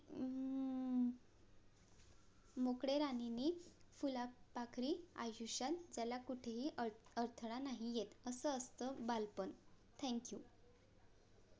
मोकळ्या राणीनि फुला पाखरी आयुष्य ज्याला कुठेही अडथळा नाही येत असं असत बालपण Thankyou